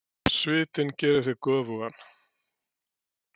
Svitinn gerir þig göfugan.